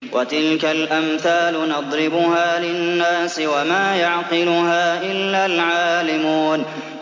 وَتِلْكَ الْأَمْثَالُ نَضْرِبُهَا لِلنَّاسِ ۖ وَمَا يَعْقِلُهَا إِلَّا الْعَالِمُونَ